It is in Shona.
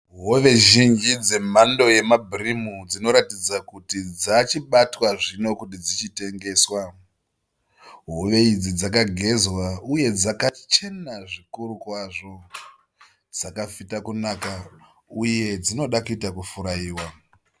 Hove zhinji dzemhando yemabhirimu dzinoratidza kuti dzachibatwa zvino kuti dzichi tengeswa. Hove idzi dzakagezwa uye dzakachena zvikuru kwazvo. Dzakafita kunaka uye dzinoda kuita kufurayiwa.